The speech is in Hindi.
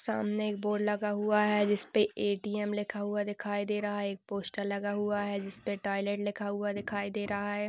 सामने एक बोर्ड लगा हुआ है। जिस पे ए.टी.एम. लिखा हुआ दिखाई दे रहा है। एक पोस्टर लगा हुआ है। जिस पे टॉयलेट लिखा हुआ दिखाई दे रहा है।